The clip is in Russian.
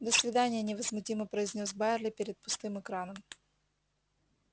до свидания невозмутимо произнёс байерли перед пустым экраном